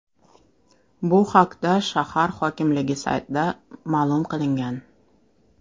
Bu haqda shahar hokimligi saytida ma’lum qilingan .